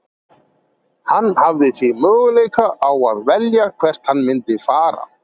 Hann hafði því möguleika á að velja hvert hann myndi fara.